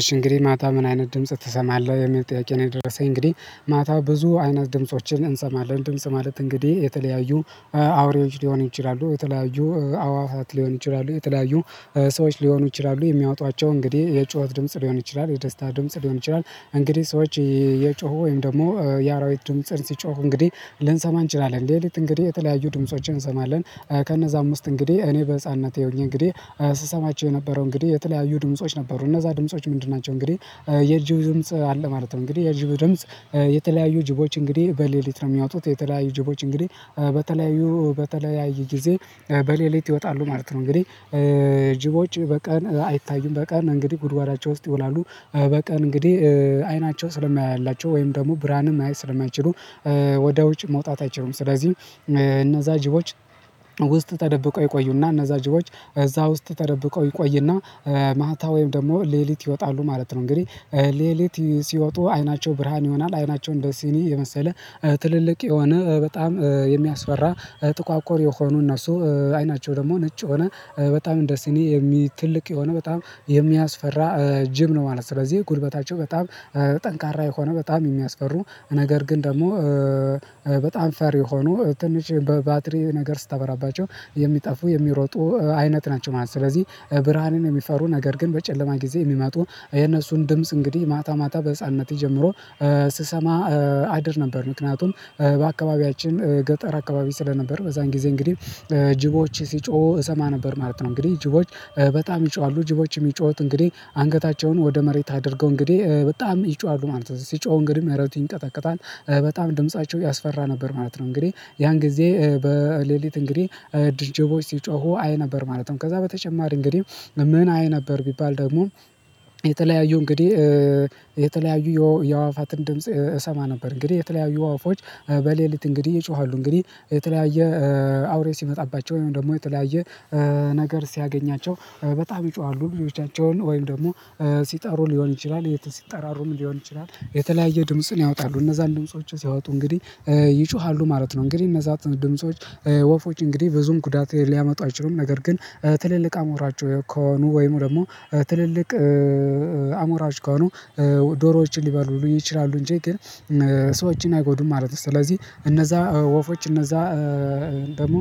እሺ እንግዲህ ማታ ምን አይነት ድምጽ ትሰማለህ የሚል ጥያቄ ነው የደረሰኝ። እንግዲህ ማታ ብዙ አይነት ድምፆችን እንሰማለን። ድምጽ ማለት እንግዲህ የተለያዩ አውሬዎች ሊሆኑ ይችላሉ የተለያዩ አእዋፋት ሊሆኑ ይችላሉ የተለያዩ ሰዎች ሊሆኑ ይችላሉ የሚያወጧቸው እንግዲህ የጩኸት ድምጽ ሊሆን ይችላል የደስታ ድምጽ ሊሆን ይችላል እንግዲህ ሰዎች የጮሁ ወይም ደግሞ የአራዊት ድምጽን ሲጮሁ እንግዲህ ልንሰማ እንችላለን ሌሊት እንግዲህ የተለያዩ ድምፆችን እንሰማለን ከነዛም ውስጥ እንግዲህ እኔ በህፃንነቴ ሆኜ እንግዲህ ስሰማቸው የነበረው እንግዲህ የተለያዩ ድምጾች ነበሩ እነዛ ድምጾች ምንድን ናቸው እንግዲህ የጅብ ድምጽ አለ ማለት ነው። እንግዲህ የጅብ ድምጽ የተለያዩ ጅቦች እንግዲህ በሌሊት ነው የሚያወጡት የተለያዩ ጅቦች እንግዲህ በተለያዩ በተለያየ ጊዜ በሌሊት ይወጣሉ ማለት ነው እንግዲህ ጅቦች በቀን አይታዩም በቀን እንግዲህ ጉድጓዳቸው ውስጥ ይውላሉ በቀን እንግዲህ አይናቸው ስለማያይላቸው ወይም ደግሞ ብርሃንም ማየት ስለማይችሉ ወደ ውጭ መውጣት አይችሉም። ስለዚህ እነዛ ጅቦች ውስጥ ተደብቀው ይቆዩና እነዛ ጅቦች እዛ ውስጥ ተደብቀው ይቆዩና ማታ ወይም ደግሞ ሌሊት ይወጣሉ ማለት ነው። እንግዲህ ሌሊት ሲወጡ አይናቸው ብርሃን ይሆናል። አይናቸው እንደ ሲኒ የመሰለ ትልልቅ የሆነ በጣም የሚያስፈራ ጥቋቁር የሆኑ እነሱ አይናቸው ደግሞ ነጭ የሆነ በጣም እንደስኒ የሚ ትልቅ የሆነ በጣም የሚያስፈራ ጅብ ነው ማለት ነው። ስለዚህ ጉልበታቸው በጣም ጠንካራ የሆነ በጣም የሚያስፈሩ ነገር ግን ደግሞ በጣም ፈሪ የሆኑ ትንሽ በባትሪ ነገር ስታበራባቸው የሚጠፉ የሚሮጡ አይነት ናቸው ማለት ነው። ስለዚህ ብርሃንን የሚፈሩ ነገር ግን በጨለማ ጊዜ የሚመጡ የነሱን ድምጽ እንግዲህ ማታ ማታ በህፃንነት ጀምሮ ስሰማ አድር ነበር። ምክንያቱም በአካባቢያችን ገጠር አካባቢ ስለነበር በዛን ጊዜ እንግዲህ ጅቦች ሲጮሁ እሰማ ነበር ማለት ነው። እንግዲህ ጅቦች በጣም ይጮሃሉ። ጅቦች የሚጮሁት እንግዲህ አንገታቸውን ወደ መሬት አድርገው እንግዲህ በጣም ይጮሃሉ ማለት ነው ሲጮሁ እንግዲህ መሬቱ ይንቀጠቀጣል በጣም ድምፃቸው ያስፈራ ነበር ማለት ነው። እንግዲህ ያን ጊዜ በሌሊት እንግዲህ ጅቦች ሲጮሁ አይ ነበር ማለት ነው። ከዛ በተጨማሪ እንግዲህ ምን አይ ነበር ቢባል ደግሞ የተለያዩ እንግዲህ የተለያዩ የአእዋፋትን ድምጽ እሰማ ነበር። እንግዲህ የተለያዩ ወፎች በሌሊት እንግዲህ ይጮሃሉ። እንግዲህ የተለያየ አውሬ ሲመጣባቸው ወይም ደግሞ የተለያየ ነገር ሲያገኛቸው በጣም ይጮሃሉ ልጆቻቸውን ወይም ደግሞ ሲጠሩ ሊሆን ይችላል ሲጠራሩም ሊሆን ይችላል የተለያየ ድምጽን ያወጣሉ እነዛን ድምጾች ሲያወጡ እንግዲህ ይጮሃሉ ማለት ነው እንግዲህ እነዛ ድምጾች ወፎች እንግዲህ ብዙም ጉዳት ሊያመጡ አይችሉም። ነገር ግን ትልልቅ አሞራቸው ከሆኑ ወይም ደግሞ ትልልቅ አሞራዎች ከሆኑ ዶሮዎችን ሊበሉ ይችላሉ እንጂ ግን ሰዎችን አይጎዱም ማለት ነው። ስለዚህ እነዛ ወፎች እነዛ ደግሞ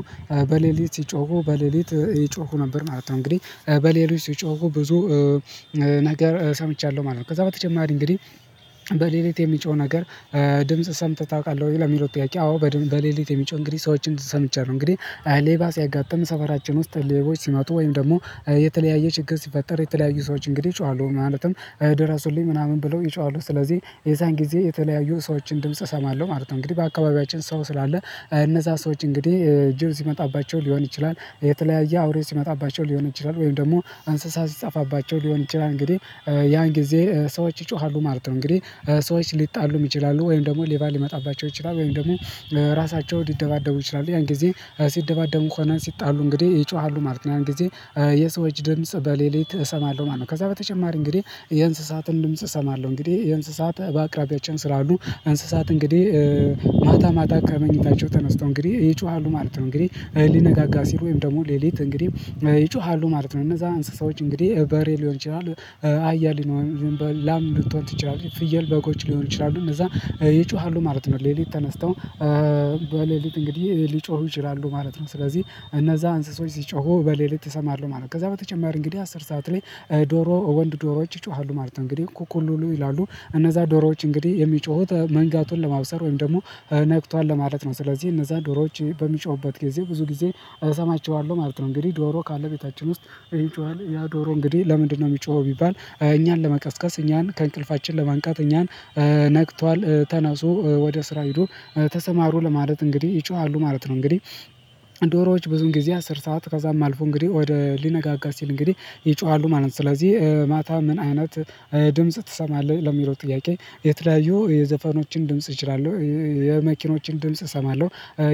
በሌሊት ሲጮሁ በሌሊት ይጮሁ ነበር ማለት ነው እንግዲህ በሌሊት ሲጮሁ ብዙ ነገር ሰምቻለሁ ማለት ነው። ከዛ በተጨማሪ እንግዲህ በሌሊት የሚጮህ ነገር ድምጽ ሰምተህ ታውቃለህ ወይ ለሚለው ጥያቄ፣ አዎ፣ በሌሊት የሚጮህ እንግዲህ ሰዎችን ሰምቻለሁ። እንግዲህ ሌባ ሲያጋጥም ሰፈራችን ውስጥ ሌቦች ሲምጡ ወይም ደግሞ የተለያየ ችግር ሲፈጠር የተለያዩ ሰዎች እንግዲህ ይጮሃሉ ማለትም ደረሱልኝ ምናምን ብለው ይጮሃሉ ስለዚህ የዛን ጊዜ የተለያዩ ሰዎችን ድምጽ እሰማለሁ ማለት ነው። እንግዲህ በአካባቢያችን ሰው ስላለ እነዛ ሰዎች እንግዲህ ጅብ ሲመጣባቸው ሊሆን ይችላል፣ የተለያየ አውሬ ሲመጣባቸው ሊሆን ይችላል፣ ወይም ደግሞ እንስሳ ሲጠፋባቸው ሊሆን ይችላል። እንግዲህ ያን ጊዜ ሰዎች ይጮሃሉ ማለት ነው። እንግዲህ ሰዎች ሊጣሉም ይችላሉ ወይም ደግሞ ሌባ ሊመጣባቸው ይችላሉ ወይም ደግሞ ራሳቸው ሊደባደቡ ይችላሉ ያን ጊዜ ሲደባደቡም ሆነ ሲጣሉ እንግዲህ ይጮሃሉ ማለት ነው። ያን ጊዜ የሰዎች ድምጽ በሌሊት እሰማለሁ ማለት ነው። ከዛ በተጨማሪ እንግዲህ የእንስሳትን ድምጽ እሰማለሁ። እንግዲህ የእንስሳት በአቅራቢያችን ስላሉ እንስሳት እንግዲህ ማታ ማታ ከመኝታቸው ተነስተው እንግዲህ ይጮሃሉ ማለት ነው። እንግዲህ ሊነጋጋ ሲል ወይም ደግሞ ሌሊት እንግዲህ ይጮሃሉ ማለት ነው። እነዛ እንስሳዎች እንግዲህ በሬ ሊሆን ይችላል አህያ ላም ልትሆን ትችላለች ፍየል በጎች ሊሆኑ ይችላሉ። እነዛ ይጮሃሉ ማለት ነው ሌሊት ተነስተው። በሌሊት እንግዲህ ሊጮሁ ይችላሉ ማለት ነው። ስለዚህ እነዛ እንስሶች ሲጮሁ በሌሊት እሰማለሁ ማለት ነው። ከዛ በተጨማሪ እንግዲህ አስር ሰዓት ላይ ዶሮ ወንድ ዶሮዎች ይጮሃሉ ማለት ነው። እንግዲህ እኩኩ ሉሉ ይላሉ። እነዛ ዶሮዎች እንግዲህ የሚጮሁት መንጋቱን ለማብሰር ወይም ደግሞ ነግቷል ለማለት ነው። ስለዚህ እነዛ ዶሮዎች በሚጮሁበት ጊዜ ብዙ ጊዜ እሰማችኋለሁ ማለት ነው። እንግዲህ ዶሮ ካለ ቤታችን ውስጥ ይጮሃል ያ ዶሮ እንግዲህ ለምንድነው የሚጮኸው ቢባል እኛን ለመቀስቀስ እኛን ከእንቅልፋችን ለማንቃት እኛን ነግቷል፣ ተነሱ፣ ወደ ስራ ሄዶ፣ ተሰማሩ ለማለት እንግዲህ ይጮሃሉ ማለት ነው። እንግዲህ ዶሮዎች ብዙን ጊዜ አስር ሰዓት ከዛም አልፎ እንግዲህ ወደ ሊነጋጋ ሲል እንግዲህ ይጮሃሉ ማለት ነው። ስለዚህ ማታ ምን አይነት ድምጽ ትሰማለህ ለሚለው ጥያቄ የተያዩ የዘፈኖችን ድምጽ እችላለሁ፣ የመኪኖችን ድምጽ እሰማለሁ፣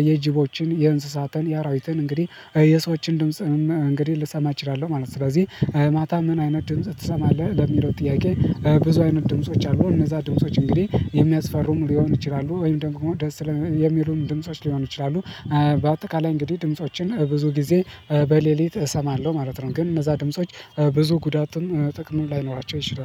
የጅቦችን የእንስሳትን የአራዊትን እንግዲህ የሰዎችን ድምጽንም እንግዲህ ልሰማ እችላለሁ ማለት ነው። ስለዚህ ማታ ምን አይነት ድምጽ ትሰማለህ ለሚለው ጥያቄ ብዙ አይነት ድምጾች አሉ። እነዛ ድምጾች እንግዲህ የሚያስፈሩም ሊሆኑ ይችላሉ ወይም ደግሞ ደስ የሚሉም ድምጾች ሊሆኑ ይችላሉ። በአጠቃላይ እንግዲህ ድምፆችን ብዙ ጊዜ በሌሊት እሰማለሁ ማለት ነው። ግን እነዛ ድምጾች ብዙ ጉዳትም ጥቅም ላይኖራቸው ይችላል።